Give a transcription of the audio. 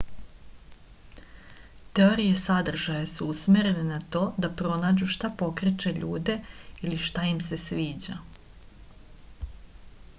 teorije sadržaja su usmerene na to da pronađu šta pokreće ljude ili šta im se sviđa